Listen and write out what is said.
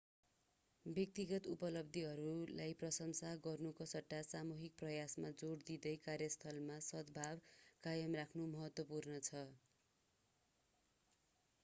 व्यक्तिगत उपलब्धिहरूलाई प्रशंसा गर्नुको सट्टा सामूहिक प्रयासमा जोड दिँदै कार्यस्थलमा सद्भाव कायम राख्नु महत्त्वपूर्ण छ